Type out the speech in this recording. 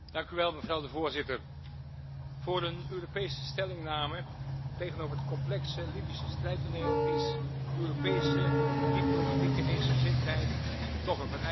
Voorzitter, voor een Europese stellingname tegenover het complexe Libische strijdtoneel is Europese diplomatieke eensgezindheid toch een vereiste.